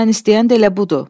mən istəyən də elə budur.